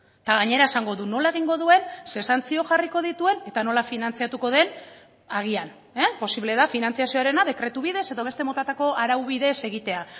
eta gainera esango du nola egingo duen ze santzio jarriko dituen eta nola finantzatuko den agian posible da finantzazioarena dekretu bidez edo beste motatako araubidez egitea